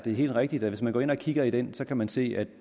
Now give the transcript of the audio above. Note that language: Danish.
er helt rigtigt at hvis man går ind og kigger i den kan man se at